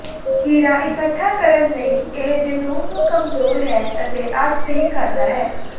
ਹੀਰਾ ਇਕੱਠਾ ਕਰਨ ਲਈ ਇਹ ਜਨੂੰਨ ਨੂੰ ਕਮਜ਼ੋਰ ਹੈ ਅਤੇ ਅੱਜ ਨਹੀ ਕਰਦਾ ਹੈ